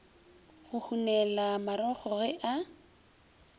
go hunela marokgo ge a